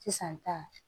Sisan ta